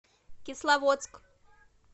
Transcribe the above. кисловодск